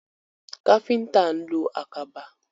Káfíntà ń lo àkàbà.